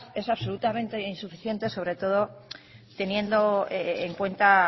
es absolutamente insuficiente sobre todo teniendo en cuenta